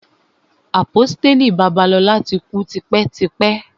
Àpọ́stélì Babalola ti kú tipẹ́ tipẹ́.